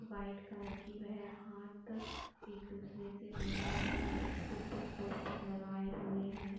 White colour की वह हाथ एक दूसरे से मिला रहे हैं। एक सिर पे टोपी लगाए हुए हैं।